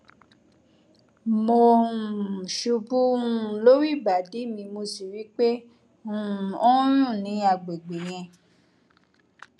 mo um ṣubú um lórí ìbàdí mi mo sì rí i pé um ó ń rùn ní agbègbè yẹn